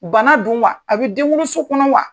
Bana don wa? A bɛ denwoloso kɔnɔ wa?